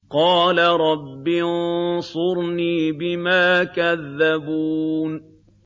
قَالَ رَبِّ انصُرْنِي بِمَا كَذَّبُونِ